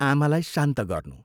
आमालाई शान्त गर्नू।